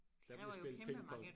Der blev spillet ping pong